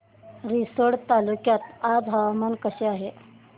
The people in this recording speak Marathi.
रिसोड तालुक्यात आज हवामान कसे आहे